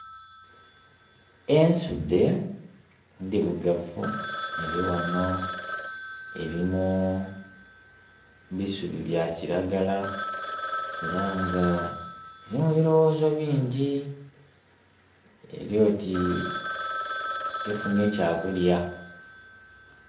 Ensudhe ndhirugavu erighano eri mu bisubi bya kilagala era nga eri mu biloghozo bingi eri oti tefunhye kya kulya.